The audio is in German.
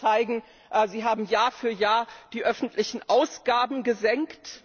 Sie können zeigen Sie haben Jahr für Jahr die öffentlichen Ausgaben gesenkt.